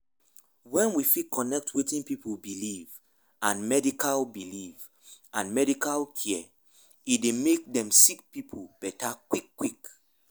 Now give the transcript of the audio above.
wen we fit connect wetin pipu believe and medical believe and medical care e dey make dem sick pipu dey beta quick quick.